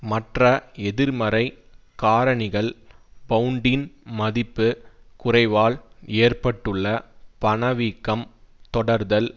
மற்ற எதிர்மறை காரணிகள் பவுண்டின் மதிப்பு குறைவால் ஏற்பட்டுள்ள பணவீக்கம் தொடர்தல்